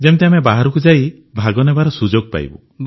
ଯେମିତି ଆମେ ବାହାରକୁ ଯାଇ ଭାଗନେବାର ସୁଯୋଗ ପାଇବୁ